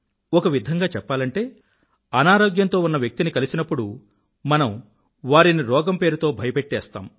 ఒకవిధంగా చెప్పాలంటే అనారోగ్యంతో ఉన్న వ్యక్తిని కలిసినప్పుడు మనం వారిని రోగం పేరుతో భయపెట్టేస్తాం